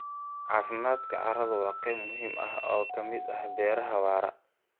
Caafimaadka carradu waa qayb muhiim ah oo ka mid ah beeraha waara.